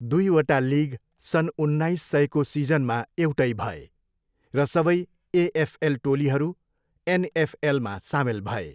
दुईवटा लिग सन् उन्नाइस सयको सिजनमा एउटै भए, र सबै एएफएल टोलीहरू एनएफएलमा सामेल भए।